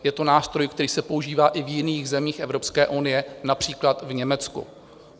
Je to nástroj, který se používá i v jiných zemích Evropské unie, například v Německu.